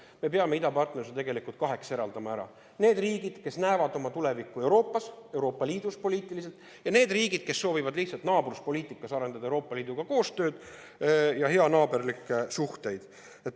Me peame idapartnerluse kaheks eraldama: need riigid, kes näevad oma tulevikku Euroopas, Euroopa Liidus poliitiliselt, ja need riigid, kes soovivad naabruspoliitikas lihtsalt arendada Euroopa Liiduga koostööd ja heanaaberlikke suhteid.